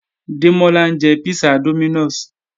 Démọ́lá ń jẹ písà Dominos